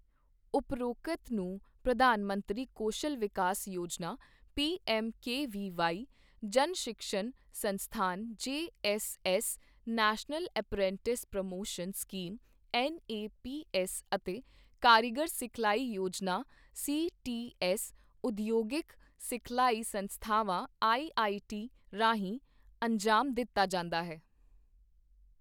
ਉਪਰੋਕਤ ਨੂੰ Pradhan Mantri Kaushal Vikas Yojana PMKVY, Jan Shikshan Sansthan JSS, national apprenticeship promotion scheme NAPS ਅਤੇ ਕਾਰੀਗਰ ਸਿਖਲਾਈ ਯੋਜਨਾ ਸੀਟੀਐੱਸ ਉਦਯੋਗਿਕ ਸਿਖਲਾਈ ਸੰਸਥਾਵਾਂ ਆਈਟੀਆਈ ਰਾਹੀਂ ਅੰਜ਼ਾਮ ਦਿੱਤਾ ਜਾਂਦਾ ਹੈ।